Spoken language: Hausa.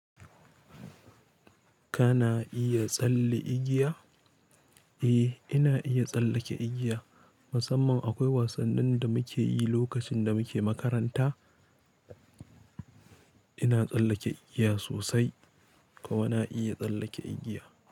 Kana iya tsalle igiya? Eh, ina iya tsallake igiya. Musamman akwai wasan nin da muke yi lokacin da muke makaranta. Ina tsallake igiya sosai, kuma na iya tsallake igiya.